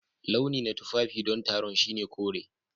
Launi na tufafi don taron shine kore.